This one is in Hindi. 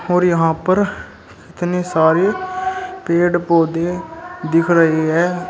और यहां पर इतने सारे पेड़ पौधे दिख रही है।